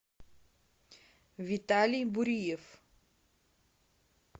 виталий буриев